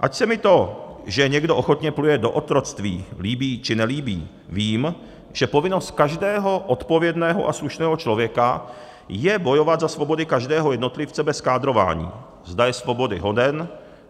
Ať se mi to, že někdo ochotně vpluje do otroctví, líbí, či nelíbí, vím, že povinnost každého odpovědného a slušného člověka je bojovat za svobody každého jednotlivce bez kádrování, zda je svobody hoden,